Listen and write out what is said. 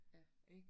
Ja